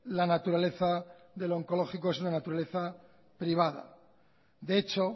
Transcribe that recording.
la naturaleza del onkologiko es una naturaleza privada de hecho